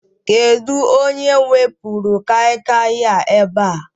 Kedụ onye wepuru Kai Kai a ebe a?